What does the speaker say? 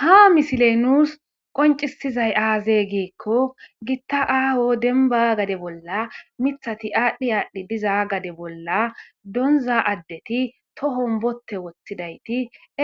Ha misiley nuus qoncisizay aazee giikko gitta aaho denba gade bolla mithati aadhdhi aadhdhi diza gade bolla donza addeti tohom bote woththidayti